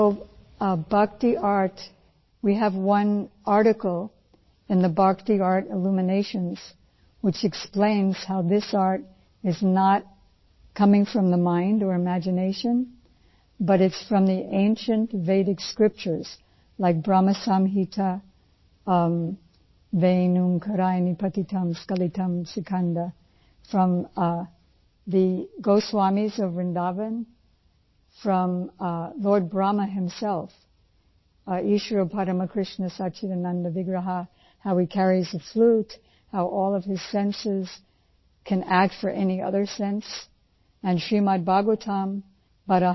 so bhakti art we have one article in the bhakti art illuminations which explains how this art is not coming from the mind or imagination but it is from the ancient Vedic scriptures like Brahma Samhita ਵੇਂ ਓਂਕਾਰਾਏ ਪਤਿਤੰ ਸਕਿਲਤੰ ਸਿਕੰਦ वें ओंकाराय पतितं स्क्लितं सिकंद ਫਰੋਮ ਥੇ goswamiਸ of Vrindavan from the lord Brahma himself ਈਸ਼ਵਰ ਪਰਮ ਕ੍ਰਿਸ਼ਨ ਸਚਿਦਾਨੰਦ ਵਿਗ੍ਰਹ ईश्वर परम कृष्ण सच्चिदानन्द विग्रह how he carries the flute how all of his senses can act for any other sense and Srimad Bhagavatam ਟੀਸੀਆਰ 9